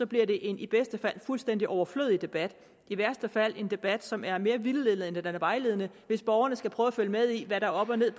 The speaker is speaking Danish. bliver det en i bedste fald fuldstændig overflødig debat i værste fald en debat som er mere vildledende end den er vejledende hvis borgerne skal prøve at følge med i hvad der er op og ned